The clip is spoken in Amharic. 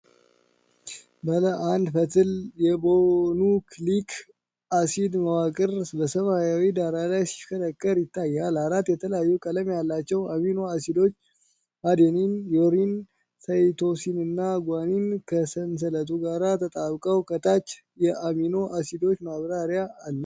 ባለ አንድ ፈትል የሪቦኑክሊክ አሲድ መዋቅር በሰማያዊ ዳራ ላይ ሲሽከረከር ይታያል። አራት የተለያዩ ቀለም ያላቸው አሚኖ አሲዶች (አዴኒን፣ ዩራሲል፣ ሳይቶሲንና ጉዋኒን) ከሰንሰለቱ ጋር ተጣብቀዋል። ከታች የአሚኖ አሲዶቹ ማብራሪያ አለ።